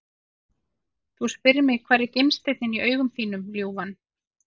Þú spyrð mig hvar er gimsteinninn í augum þínum ljúfan?